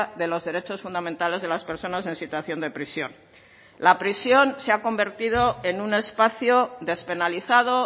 de los derechos fundamentales de las personas en situación de prisión la prisión se ha convertido en un espacio despenalizado